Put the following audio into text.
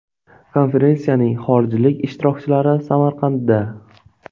Konferensiyaning xorijlik ishtirokchilari Samarqandda.